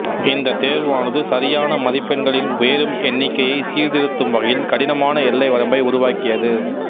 இந்தத் தேர்வானது சரியான மதிப்பெண்களின் உயரும் எண்ணிக்கையை சீர்திருத்தும் வகையில் கடினமான எல்லை வரம்பை உருவாக்கியது